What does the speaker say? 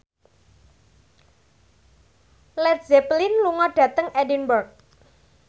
Led Zeppelin lunga dhateng Edinburgh